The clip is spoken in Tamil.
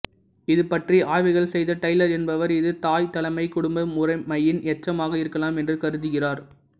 இது பற்றி ஆய்வுகள் செய்த டைலர் என்பவர் இது தாய்த்தலைமைக் குடும்ப முறைமையின் எச்சமாக இருக்கலாம் எனக் கருதுகிறார்